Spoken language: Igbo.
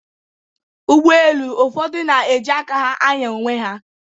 Ụgbọelu ụfọdụ na-eji aka ha ànyá onwe ha